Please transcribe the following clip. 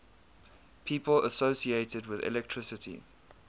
people associated with electricity